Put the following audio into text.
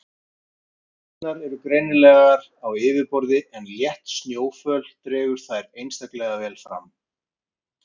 Rústirnar eru greinanlegar á yfirborði en létt snjóföl dregur þær einstaklega vel fram.